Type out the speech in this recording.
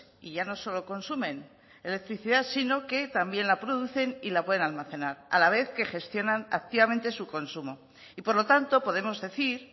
y ya no solo consumen electricidad sino que también la producen y la pueden almacenar a la vez que gestionan activamente su consumo y por lo tanto podemos decir